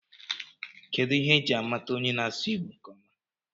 Kedụ ihe eji a mata onye na-asụ Igbo nkeọma?